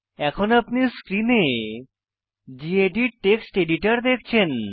এখন আপনি স্ক্রিনে গেদিত টেক্সট এডিটর দেখেছেন